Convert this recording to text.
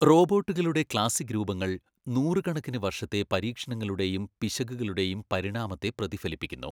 റോബോട്ടുകളുടെ classic രൂപങ്ങൾ നൂറുകണക്കിന് വർഷത്തെ പരീക്ഷണങ്ങളുടെയും പിശകുകളുടെയും പരിണാമത്തെ പ്രതിഫലിപ്പിക്കുന്നു.